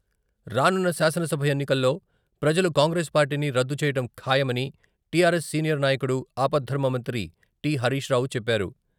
రానున్న శాసనసభ ఎన్నికల్లో ప్రజలు కాంగ్రెస్ పార్టీని రద్దు చేయటం ఖాయమని టిఆర్ఎస్ సీనియర్ నాయకుడు ఆపద్దర్మ మంత్రి టి.హరీష్ రావు చెప్పారు.